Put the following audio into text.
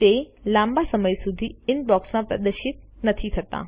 તે લાંબા સમય સુધી ઇનબોક્સમાં પ્રદર્શિત નથી થતા